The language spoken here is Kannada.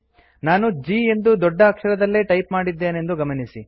ನಾನು G ಎಂದು ದೊಡ್ಡ ಅಕ್ಷರದಲ್ಲೇ ಟೈಪ್ ಮಾಡಿದ್ದೇನೆಂದು ಗಮನಿಸಿ